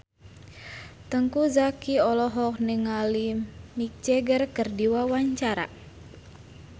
Teuku Zacky olohok ningali Mick Jagger keur diwawancara